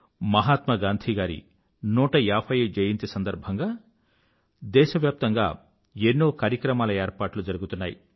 మహాత్మా గాంధీ గారి 150వ జయంతి సంవత్సరం సందర్భంగా దేశవ్యాప్తంగా ఎన్నో కార్యక్రమాల ఏర్పాట్లు జరుగుతున్నాయి